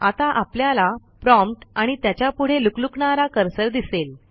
आता आपल्याला प्रॉम्प्ट आणि त्याच्यापुढे लुकलुकणारा कर्सर दिसेल